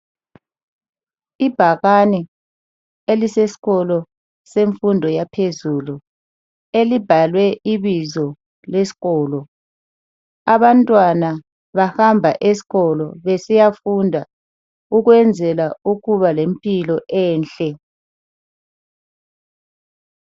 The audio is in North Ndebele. Ibhakane elisesikolo semfundo yaphezulu elibhalwe ibizo lesikolo. Abantwana bahamba esikolo besiyafunda ukwenzela ukuba lempilo enhle.